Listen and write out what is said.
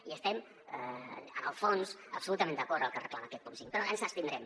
i estem en el fons absolutament d’acord amb el que reclama aquest punt cinc però ens hi abstindrem